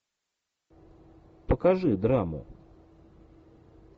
покажи драму